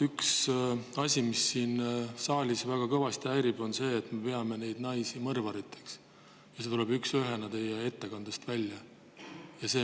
Üks asi, mis siin saalis täna väga kõvasti häirib, on see, et me peame neid naisi mõrvariteks – see tuleb üksüheselt teie ettekandest välja.